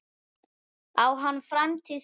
Á hann framtíð hérna?